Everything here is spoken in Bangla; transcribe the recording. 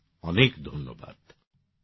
অনেক অনেক ধন্যবাদ